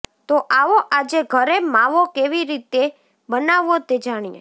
તો આવો આજે ઘરે માવો કેવી રીતે બનાવવો તે જાણીએ